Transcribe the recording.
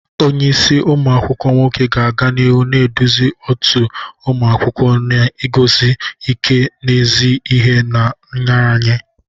Onye isi umu akwukwo nwoke ga-aga n'ihu na-eduzi òtù ụmụ akwụkwọ n'iguzosi ike n'ezi ihe na nraranye.